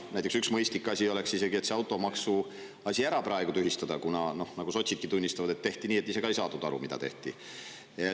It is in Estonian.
Näiteks üks mõistlik asi oleks see automaks praegu tühistada, kuna, nagu sotsidki tunnistavad, see tehti nii, et ise ka ei saadud aru, mida tehti.